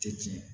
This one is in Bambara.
Tɛ tiɲɛ ye